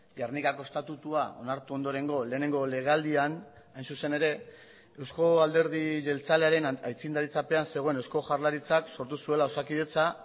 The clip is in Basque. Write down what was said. gernikako estatutua onartu ondorengo lehenengo legealdian hain zuzen ere euzko alderdi jeltzalearen aitzindaritzapean zegoen eusko jaurlaritzak sortu zuela osakidetza